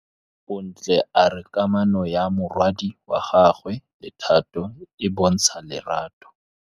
Bontle a re kamanô ya morwadi wa gagwe le Thato e bontsha lerato.